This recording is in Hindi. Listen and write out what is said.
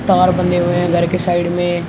तार बधे हुए हैं घर के साइड में।